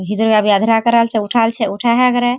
इधर आभी अधरा कराल छे उठाल छे उठाछे करे।